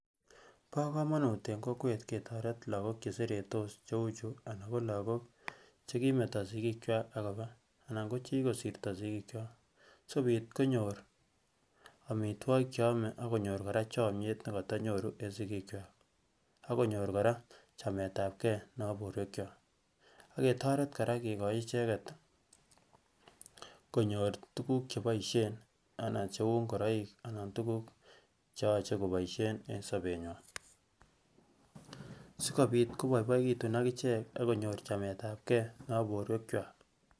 bo komonut eng kokwet ketoret lagok cheseretos cheuchu anan ko lagok chekimeto sigiik kwak akoba anan ko chekikosirtoo sigiikwak sikobit konyor amitwogik cheome akonyor kora chomyet nekotonyoru eng sigiikkwak akonyor kora chametabgee nebo borwek kwak aketoret kora kikochi icheket konyor tukuk cheboisyen anan tukuk cheu ngoroik anan tukuk cheyoche koboisien eng sobenywan sikobit koboiboekitun akichek akonyor chametabgee nebo borwekwak